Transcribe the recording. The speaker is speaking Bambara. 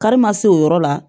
Kari ma se o yɔrɔ la